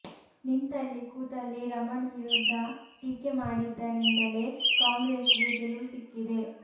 ನಿಂತಲ್ಲಿ ಕೂತಲ್ಲಿ ರಮಣ್ ವಿರುದ್ಧ ಟೀಕೆ ಮಾಡಿದ್ದರಿಂದಲೇ ಕಾಂಗ್ರೆಸ್ಗೆ ಗೆಲುವು ಸಿಕ್ಕಿದೆ